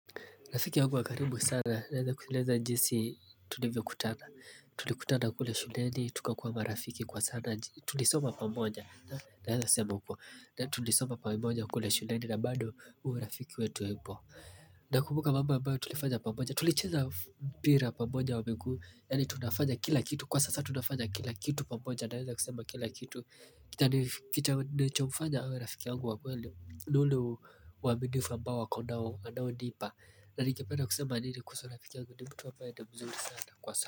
Rafiki yangu wa karibu sana, naeza kueleza jinsi tulivyokutana. Tulikutana kule shuleni, tukakuwa rafiki kwa sana. Tulisoma pamoja, naeza sema uko. Na tulisoma pamoja kule shuleni na bando urafiki wetu uwepo. Nakumbuka mambo ambayo tulifanya pamoja. Tulicheza mpira pamoja wa miguu, yaani tunafanya kila kitu. Kwa sasa tunafanya kila kitu pamoja, naeza kusema kila kitu. Kita nilichomfanya awe rafiki yangu wa kweli, ni ule uaminifu ambao ako nao anaonipa. Na ningependa kusema nini kuhusu rafiki yangu ni mtu ambaye ni mzuri sana kwa sa.